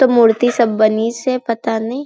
तो मूर्ति सब बनिस हे पता नही--